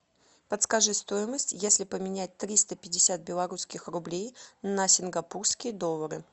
подскажи стоимость если поменять триста пятьдесят белорусских рублей на сингапурские доллары